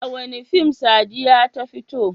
A wane fim Sadiya ta fito?